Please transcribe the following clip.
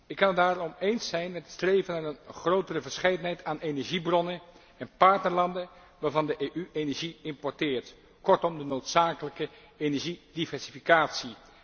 Ik kan het daarom eens zijn met het streven naar een grotere verscheidenheid aan energiebronnen en partnerlanden waarvan de EU energie importeert, kortom de noodzakelijke energiediversificatie.